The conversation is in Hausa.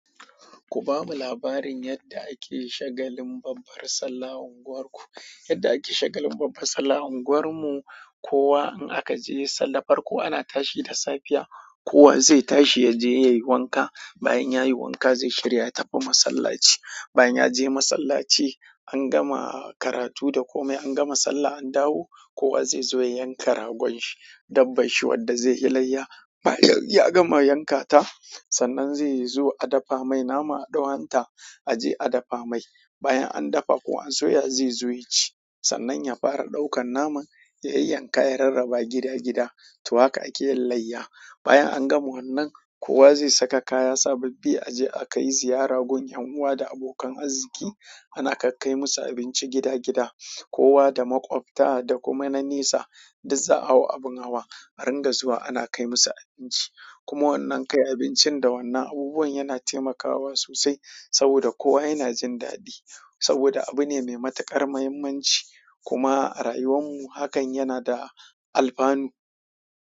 Ku bamu labarin yadda ake shagalin babbar sallah a unguwar ku. Yarda ake shagalin babbar sallah a unguwan mu kowa in akaje sallah farko ana tashi da safiya kowa zai tashi yaje yayi wanka bayan ya yi wanka zai shirya ya tafi masallaci. Bayan ya je masallaci, an gama karatu da komai, an gama sallah an dawo, kowa zai zo ya yanka ragon shi, dabban shi wanda zai yi layya. Bayan ya gama yankata, sannan zai zo a dafa mai nama a ɗau hanta a je a dafa mai. Bayan an dafa ko an soya zai zo ya ci. Sannan ya fara ɗaukan naman ya yan yanka ya rarraba gida gida. To haka ake yin layya. Bayanan gama wannan kowa zai saka kaya sabbabi aje akai ziyara gun ƴan uwa da abokan arziki ana kai kai musu abinci gida gida, kowa da maƙwabta da kuma na nesa, duk za'a hau abin hawa a ringa zuwa ana kai musu abinci. Kuma wannan kai abincin da wannan abubuwan yana taimakawa sosai saboda kowa yana jin daɗi saboda abu ne mai matuƙar muhimmanci. Kuma a rayuwan mu hakan yana da alfanu.